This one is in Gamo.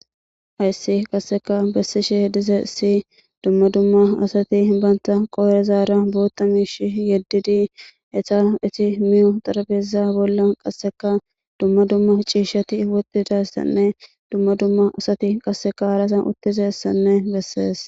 Hayssi qasseka bessishe dize si dumma dumma asati banta qoore zaara bootta mishi yeddidi eta iti miyu darabeza bolla qasseka dumma dumma ciishshati wotidayssanne dumma dumma asati qasseka harasan uttiza ssanne bessees